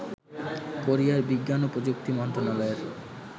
কোরিয়ার বিজ্ঞান ও প্রযুক্তি মন্ত্রণায়য়ের